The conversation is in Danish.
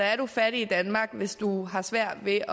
er du fattig i danmark hvis du har svært ved